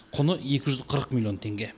құны екі жүз қырық миллион теңге